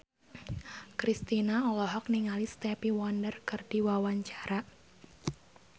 Kristina olohok ningali Stevie Wonder keur diwawancara